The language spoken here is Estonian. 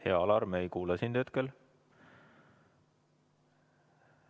Hea Alar, me ei kuule sind hetkel.